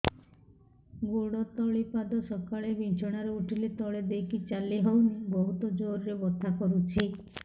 ଗୋଡ ତଳି ପାଦ ସକାଳେ ବିଛଣା ରୁ ଉଠିଲେ ତଳେ ଦେଇକି ଚାଲିହଉନି ବହୁତ ଜୋର ରେ ବଥା କରୁଛି